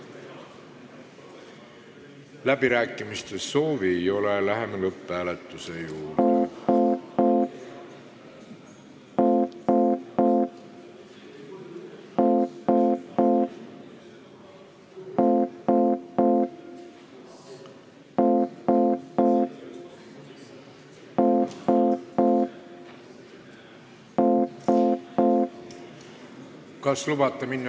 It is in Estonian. Läbirääkimiste soovi ei ole, läheme lõpphääletuse juurde.